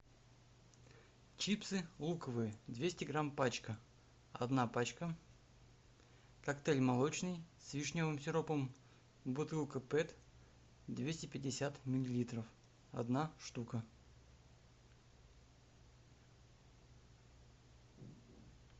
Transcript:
чипсы луковые двести грамм пачка одна пачка коктейль молочный с вишневым сиропом бутылка пэт двести пятьдесят миллилитров одна штука